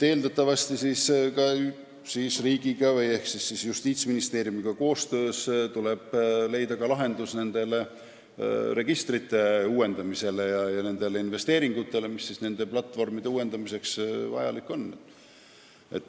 Eeldatavasti riigiga ehk siis Justiitsministeeriumiga koostöös tuleb leida lahendus registrite uuendamiseks ja nende investeeringute tegemiseks, mis platvormide täiendamiseks vajalikud on.